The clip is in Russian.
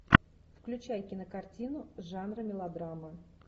включай кинокартину жанра мелодрама